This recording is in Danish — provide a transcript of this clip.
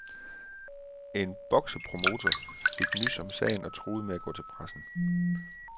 En boksepromotor fik nys om sagen og truede med at gå til pressen.